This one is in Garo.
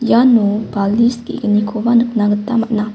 iano balish ge·gnikoba nikna gita man·a.